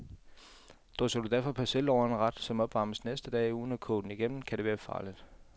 Drysser du derfor persille over en ret, som opvarmes næste dag, uden at koge den igennem, kan det være farligt.